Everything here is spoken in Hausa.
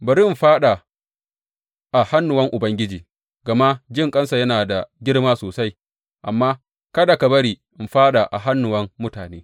Bari in fāɗa a hannuwan Ubangiji, gama jinƙansa yana da girma sosai; amma kada ka bari in fāɗa a hannuwan mutane.